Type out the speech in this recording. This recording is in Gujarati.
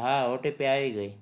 હા OTP આવી ગઈ